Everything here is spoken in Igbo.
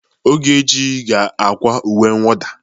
Ogechi ga-akwa uwe mwụda.